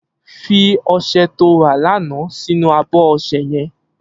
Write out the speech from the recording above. Fi ọṣẹ tó rà làná sinú ábọ̀ ọṣẹ̀ yèn